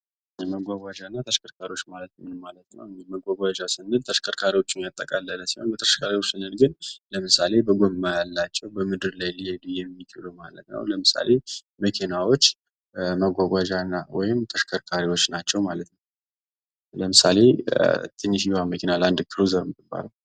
መጓጓያና ተሽከርካሪዎች ማለት እንግዲህ ምን ማለት ነው ተሽከርካሪዎችን ያጠቃልላል ሲሆን ለምሳሌ ጎማ ያላቸው በምድር ላይ ሊሄዱ የሚችሉ ማለት ነው ለምሳሌ መኪናዎች መጓጓዣና ወይም ደሞ ተሽከርካሪዎችና ማለት ናቸው። ለምሳሌ ትንሽዬዋ መኪና ለአንድ ኩሮዘር የምትባላት!